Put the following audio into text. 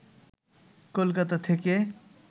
কলকাতা থেকে